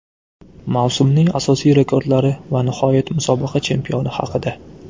Mavsumning asosiy rekordlari Va nihoyat, musobaqa chempioni haqida.